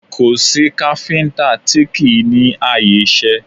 Kò sí káfíńtà tí kì í ní ààyè iṣẹ́